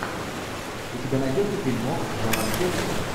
у тебя найдется фильмок жанр пеплум